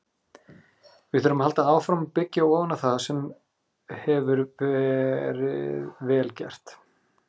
Við þurfum að halda áfram að byggja ofan á það sem hefur verið vel gert,